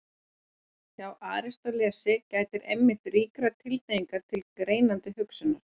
Hjá Aristótelesi gætir einmitt ríkrar tilhneigingar til greinandi hugsunar.